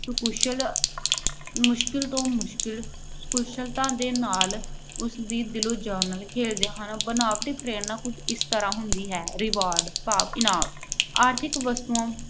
ਕੁਸ਼ਲ ਮੁਸ਼ਕਲ ਤੋਂ ਮੁਸ਼ਕਲ ਕੁਸ਼ਲਤਾ ਦੇ ਨਾਲ ਦਿਲੋਂ ਜਾਨ ਨਾਲ ਖੇਡਦੇ ਹਨ। ਬਨਾਵਟੀ ਪ੍ਰੇਰਨਾ ਕੁਝ ਇਸ ਤਰ੍ਹਾਂ ਹੁੰਦੀ ਹੈ- reward ਭਾਵ ਇਨਾਮ। ਆਰਥਿਕ ਵਸਤੂਆਂ